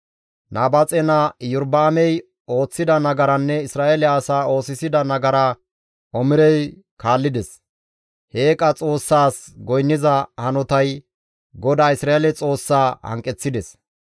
Nabaaxe naa Iyorba7aamey ooththida nagaranne Isra7eele asaa oosisida nagaraa Omirey kaallides; he eeqa xoossaas goynniza hanotay GODAA Isra7eele Xoossaa hanqeththides.